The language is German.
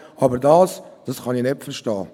Aber das hier kann ich nicht verstehen.